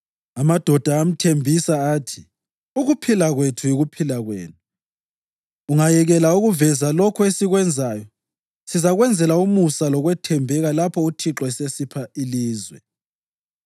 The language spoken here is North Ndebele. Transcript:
Amadoda amthembisa athi, “Ukuphila kwethu yikuphila kwenu! Ungayekela ukuveza lokho esikwenzayo sizakwenzela umusa lokwethembeka lapho uThixo esesipha ilizwe.”